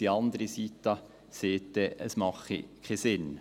Die andere Seite sagt dann jeweils, es mache keinen Sinn.